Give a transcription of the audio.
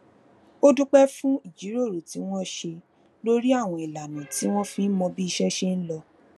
ó dúpẹ fún ìjíròrò tí wọn ṣe lórí àwọn ìlànà tí wọn fi ń mọ bí iṣẹ ṣe ń lọ